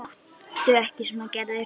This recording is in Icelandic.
Láttu ekki svona Gerður.